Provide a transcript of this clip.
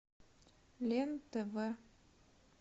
лен тв